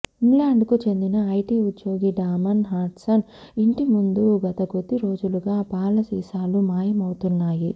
ఇంగ్లాండ్కు చెందిన ఐటీ ఉద్యోగి Damon Hudson ఇంటి ముందు గత కొద్ది రోజులుగా పాల సీసాలు మాయమవుతున్నాయి